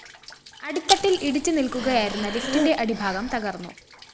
അടിത്തട്ടില്‍ ഇടിച്ച് നില്‍ക്കുകയായിരുന്ന ലിഫിറ്റിന്റെ അടിഭാഗം തകര്‍ന്നു